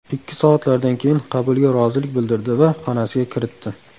Ikki soatlardan keyin qabulga rozilik bildirdi va xonasiga kiritdi.